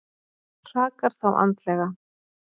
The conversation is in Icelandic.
Hrakar þá andlega.